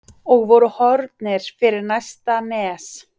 og voru horfnir fyrir næsta nes.